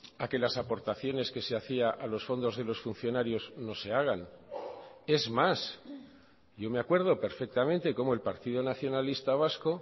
a que las aportaciones que se hacía a los fondos de los funcionarios no se hagan es más yo me acuerdo perfectamente como el partido nacionalista vasco